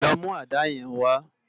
Lò mú àdá yèn wá